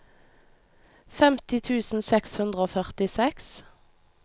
femti tusen seks hundre og førtiseks